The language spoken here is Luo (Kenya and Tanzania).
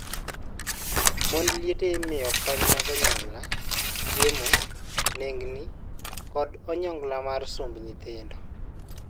Mond liete imiyo kony mag onyongla, chiemo, nengni, kod onyongla mar somb nyithindo.